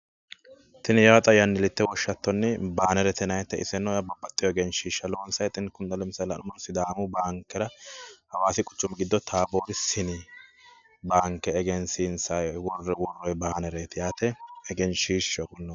Tini yaa xa yannillite woshshattonni baanerete yinannite iseno babbxewo egenshshiishsha loonsayiite. kini xa lemisaale sidaamu baankera hawaasi quchumi taaboori sini baanke egensiinsayi worroyi baanereeti yaate. egenshiishshaho.